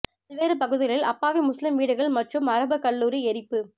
பல்வேறு பகுதிகளில் அப்பாவி முஸ்லீம் வீடுகள் மற்றும் அரபுக் கல்லூரி எரிப்பு